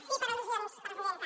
sí per al·lusions presidenta